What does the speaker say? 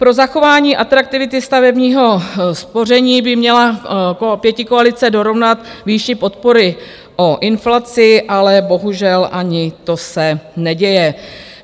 Pro zachování atraktivity stavebního spoření by měla pětikoalice dorovnat výši podpory o inflaci, ale bohužel ani to se neděje.